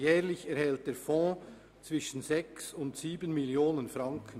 Jährlich erhält der Fonds zwischen 6 und 7 Mio. Franken.